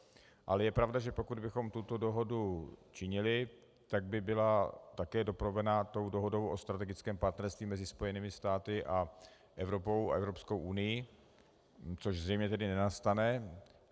Ale je pravda, že pokud bychom tuto dohodu činili, tak by byla také doprovázena tou dohodou o strategickém partnerství mezi Spojenými státy a Evropou a Evropskou unií, což zřejmě tedy nenastane.